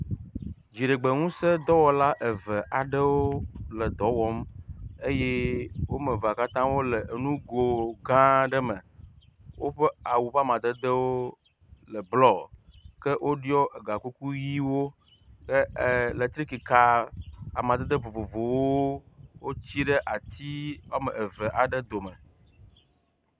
Dziɖegbeŋuse dɔwɔla eve aɖewo le dɔwɔm eyɛ wɔmevea katã le enugo gãaɖe me, wóƒe awu ƒamadedeo le blɔ, ke wóɖiɔ ega kuku ɣiwo ke eletrikika amadede vovovowo wotsí ɖe ati wɔme eve aɖe dome